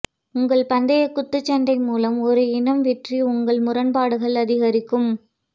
உங்கள் பந்தையை குத்துச்சண்டை மூலம் ஒரு இனம் வெற்றி உங்கள் முரண்பாடுகள் அதிகரிக்கும்